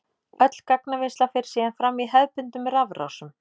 Öll gagnavinnsla fer síðan fram í hefðbundnum rafrásum.